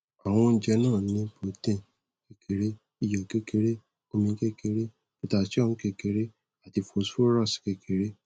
awon ouje na ni protein kekere iyo kekere omi kekere potassium kekere ati phosphorus kekere